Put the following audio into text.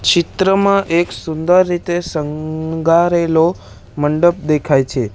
ચિત્રમાં એક સુંદર રીતે શણગારેલો મંડપ દેખાય છે.